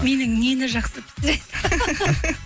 менің нені жақсы